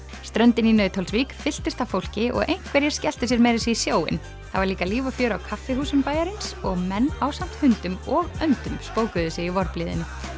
ströndin í Nauthólsvík fylltist af fólki og einhverjir skelltu sér meira að segja í sjóinn það var líka líf og fjör á kaffihúsunum bæjarins og menn ásamt hundum og öndum spókuðu sig í vorblíðunni